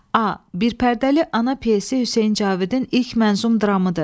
A, bir pərdəli ana pyesi Hüseyn Cavidin ilk mənzum dramıdır.